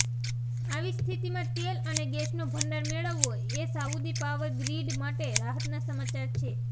આવી સ્થિતિમાં તેલ અને ગેસનો ભંડાર મેળવવો એ સાઉદીની પાવર ગ્રીડ માટે રાહતના સમાચાર છે